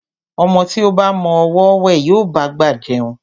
Ọmọ tí ó ba mọ ọwọ́ wẹ̀, yóò bá'gbà jẹun.